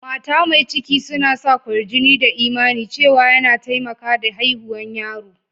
Mata mai ciki suna sa kwarjini da imani cewa ya na taimaka da haihuwan yaro.